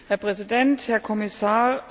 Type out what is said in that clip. Herr Präsident, Herr Kommissar!